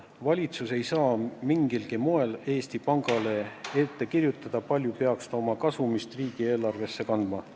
Valitsus ei saa mingilgi moel Eesti Pangale ette kirjutada, kui palju peaks ta oma kasumist riigieelarvesse kandma.